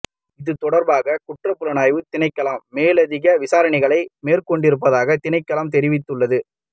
இது தொடர்பாக குற்றப்புலனாய்வு திணைக்களம் மேலதிக விசாரணைகளை மேற்கொண்டிருப்பதாக திணைக்களம் தெரிவித்துள்ளது